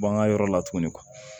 Bɔ an ka yɔrɔ la tuguni